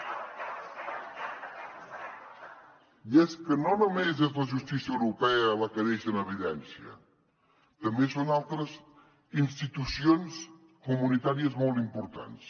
i és que no només és la justícia europea la que deixa en evidència també són altres institucions comunitàries molt importants